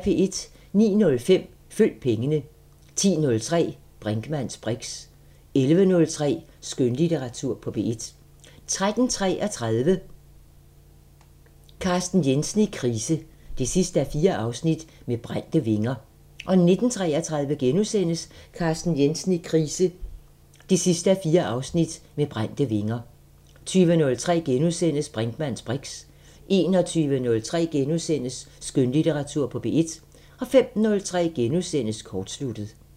09:05: Følg pengene 10:03: Brinkmanns briks 11:03: Skønlitteratur på P1 13:33: Carsten Jensen i krise 4:4 – Med brændte vinger 19:33: Carsten Jensen i krise 4:4 – Med brændte vinger * 20:03: Brinkmanns briks * 21:03: Skønlitteratur på P1 * 05:03: Kortsluttet *